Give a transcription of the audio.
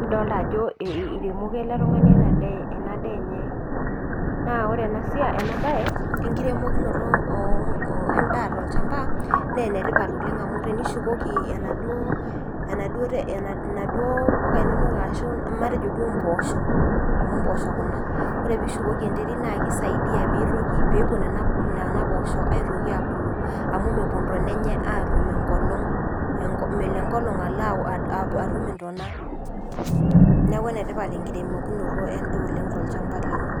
nidolita ajooo iremoko ele tunganii enaa daa enye naa koree ena siai enkirimokinoto endaa too olchamaba naa enetipat oleng amuu tenishukoki naaduo puka inonok arashu matejoo duo mpoosho amu mpooosho kuna ko=reee pishukokii eneterit naa kisaidia aitoki abuluu amuu mepuo intona enye apuuo adol enkolong niakuu ene tipat enkiremokinoree endaa too lchamba lino.